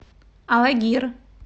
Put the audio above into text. алагир